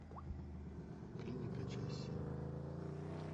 клиника часть семь